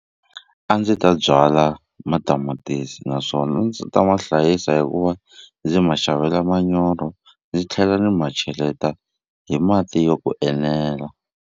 A ndzi ta byala matamatisi naswona a ndzi ta ma hlayisa hi ku va ndzi ma xavela manyoro ni tlhela ni ma cheleta hi mati yo ku enela.